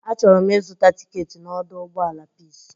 Achọrọ m ịzụta tiketi n'ọdọ ụgbọala Pis.